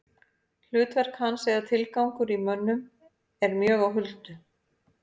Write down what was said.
Hlutverk hans eða tilgangur í mönnum er mjög á huldu.